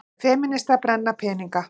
Femínistar brenna peninga